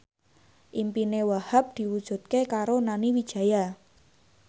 impine Wahhab diwujudke karo Nani Wijaya